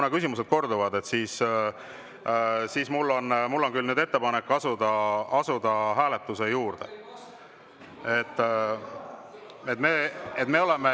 Kuna küsimused korduvad, siis mul on küll ettepanek asuda nüüd hääletuse juurde.